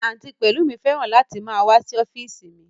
Àǹtí Pẹlumi fẹ́ràn láti máa wá sí ọ́físì mi